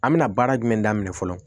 An bɛna baara jumɛn daminɛ fɔlɔ